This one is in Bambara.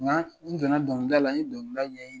n don na dɔnkilida la n ye dɔnkiliula ɲɛ ye.